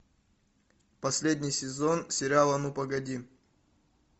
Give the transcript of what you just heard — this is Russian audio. последний сезон сериала ну погоди